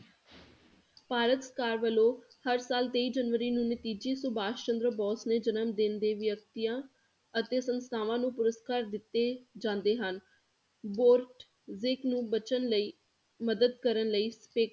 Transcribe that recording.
ਭਾਰਤ ਸਰਕਾਰ ਵੱਲੋਂ ਹਰ ਸਾਲ ਤੇਈ ਜਨਵਰੀ ਨੂੰ ਨਤੀਜੇ ਸੁਭਾਸ਼ ਚੰਦਰ ਬੋਸ ਨੇ ਜਨਮਦਿਨ ਦੇ ਵਿਅਕਤੀਆਂ ਅਤੇ ਸੰਸਥਾਵਾਂ ਨੂੰ ਪੁਰਸਕਾਰ ਦਿੱਤੇ ਜਾਂਦੇ ਹਨ ਨੂੰ ਬਚਣ ਲਈ ਮਦਦ ਕਰਨ ਲਈ ਤੇ